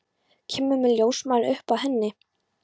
Kemur með ljósmæli upp að henni.